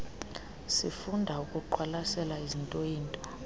sifunda ukuqwalasela izintooyinto